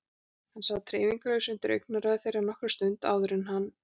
Hann sat hreyfingarlaus undir augnaráði þeirra nokkra stund áður en hann hristi höfuðið.